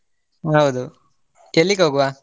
ಹೌದು, ಎಲ್ಲಿಗೋಗುವ?